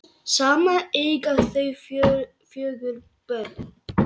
Saman eiga þau fjögur börn